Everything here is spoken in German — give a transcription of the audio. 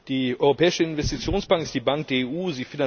Die Europäische Investitionsbank ist die Bank der EU.